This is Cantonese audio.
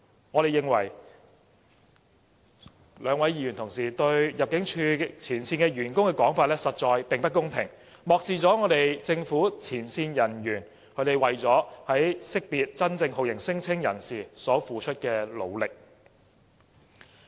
我們認為兩位議員的說法對入境處前線員工實在不公平，漠視政府前線人員為了識別真正酷刑聲請人士所付出的努力。